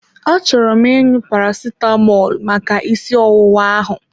Achọrọ m ịṅụ Paracetamọl maka ịsị ọwụwa ahụ.